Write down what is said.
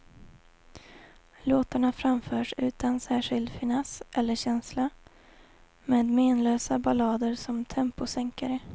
Låtarna framförs utan särskild finess eller känsla, med menlösa ballader som temposänkare.